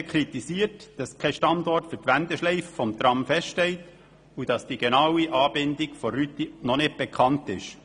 Die BDP kritisiert, dass für die Wendeschleife des Trams kein Standort festgelegt und die genaue Anbindung der Rüti noch nicht bekannt ist.